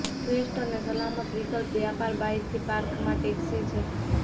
શ્રેષ્ઠ અને સલામત વિકલ્પ વ્યાપાર બાયથી પાર્કમાં ટેક્સી છે